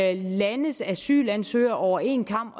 alle landes asylansøgere over én kam